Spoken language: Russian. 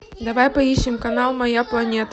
давай поищем канал моя планета